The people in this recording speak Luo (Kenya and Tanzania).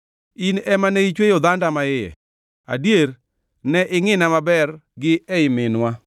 In ema ne ichweyo dhanda maiye, adier, ne ingʼina maber gi ei minwa.